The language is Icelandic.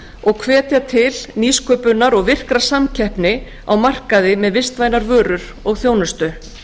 og hvetja til nýsköpunar og virkrar samkeppni á markaði með vistvænar vörur og þjónustu